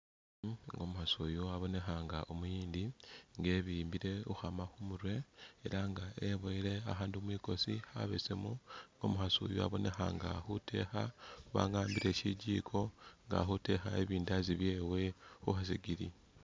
Umukhasi uyu wabonekha nga umuyindi, nga webimbile ukhwama khumurwe era nga webuwele akhandu mumilo khabesemu, nga umukhasi yuno abonekha nga ali khutekha khubanga wa wambile shigiko nga akhutekha ibindazi byewe khukhasigiri.